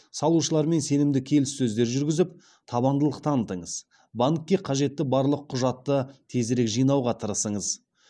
салушылармен сенімді келіссөздер жүргізіп табандылық танытыңыз банкке қажетті барлық құжатты тезірек жинауға тырысыңыз